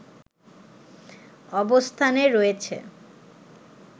অবস্থানে রয়েছে